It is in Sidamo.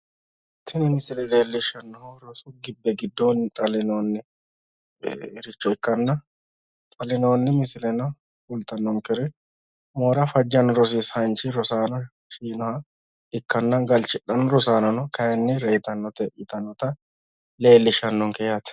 tini misile leellishshannohu rosu gibbe giddooni xallinooniricho ikkanna xallinooni misileno kulatnnonkeri moora fajjannno rosisaanichi rosaano shinoha ikkanna galchidhanno rosaanono kayiinni reetannote yitannota leellishannonke yaate